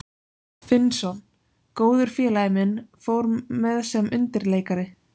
Finnsson, góður félagi minn, fór með sem undirleikari.